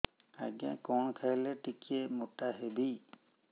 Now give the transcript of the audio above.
ଆଜ୍ଞା କଣ୍ ଖାଇଲେ ଟିକିଏ ମୋଟା ହେବି